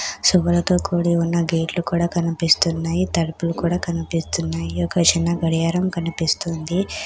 శుభ్రతో కూడి ఉన్న గేట్లు కూడా కనిపిస్తున్నాయి తలుపులు కూడా కనిపిస్తున్నాయి ఒక చిన్న గడియారం కనిపిస్తుంది.